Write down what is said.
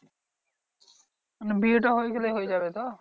মানে বিয়েটা হয়ে গেলেই হয়ে যাবে তো?